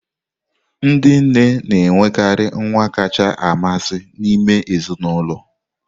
Ndị nne na-enwekarị nwa kacha amasị n'ime ezinụlọ.